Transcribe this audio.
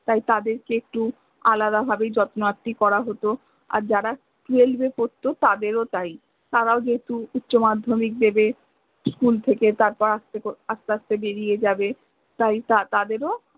তাই তাদেরকে একটু আলাদা ভাবেই যত্নার্তি করা হত আর যারা twelve এ পরত তাদের ও তাই, তারাও যেহেতু উচ্চ মাধ্য়মিক দেবে school থেকে তারা আস্তে আস্তে করে বেরিয়ে যাবে, তাই তাদের ও